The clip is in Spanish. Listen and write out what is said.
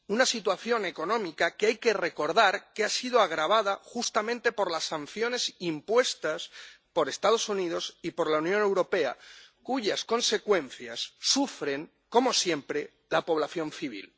Una situación económica que hay que recordar que ha sido agravada justamente por las sanciones impuestas por los Estados Unidos y por la Unión Europea, cuyas consecuencias sufre, como siempre, la población civil.